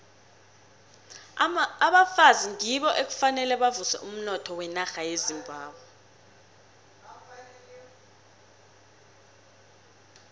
abafazi ngibo ekufuze bavuse umnotho wenarha yezimbabwe